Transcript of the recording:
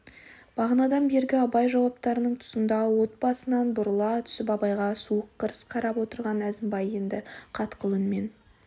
бағанадан бергі абай жауаптарының тұсында от басынан бұрыла түсіп абайға суық қырыс қарап отырған әзімбай енді қатқыл үнмен